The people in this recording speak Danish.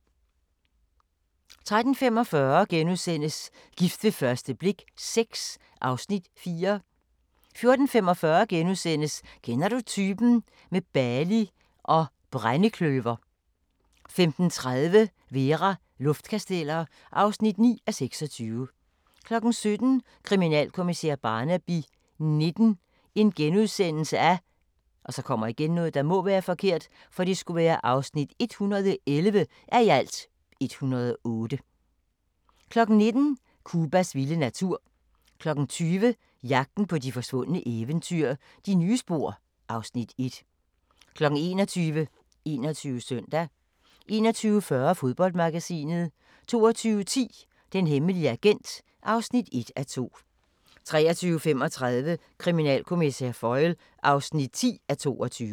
13:45: Gift ved første blik VI (Afs. 4)* 14:45: Kender du typen? – med Bali og brændekløver * 15:30: Vera: Luftkasteller (9:26) 17:00: Kriminalkommissær Barnaby XIX (111:108)* 19:00: Cubas vilde natur 20:00: Jagten på de forsvundne eventyr – De nye spor (Afs. 1) 21:00: 21 Søndag 21:40: Fodboldmagasinet 22:10: Den hemmelige agent (1:2) 23:35: Kriminalkommissær Foyle (10:22)